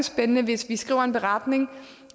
spændende hvis vi skriver en beretning